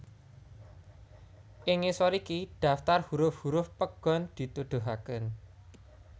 Ing ngisor iki daftar huruf huruf pegon dituduhaké